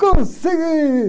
Consegui!